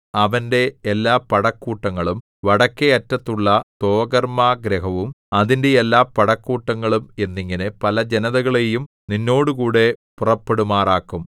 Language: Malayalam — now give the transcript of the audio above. അവന്റെ എല്ലാ പടക്കൂട്ടങ്ങളും വടക്കെ അറ്റത്തുള്ള തോഗർമ്മാഗൃഹവും അതിന്റെ എല്ലാ പടക്കൂട്ടങ്ങളും എന്നിങ്ങനെ പല ജനതകളെയും നിന്നോടുകൂടെ പുറപ്പെടുമാറാക്കും